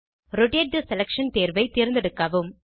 rotate the selection தேர்வை தேர்ந்தெடுக்கவும்